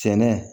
Cɛnna